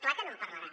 clar que no en parlarà